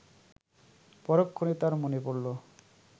পরক্ষণেই তার মনে পড়ল